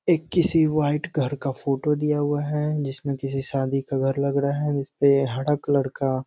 एक किसी वाइट घर का फोटो दिया हुआ है जिसमें किसी शादी का घर लग रहा है जिस पे हरा कलर का --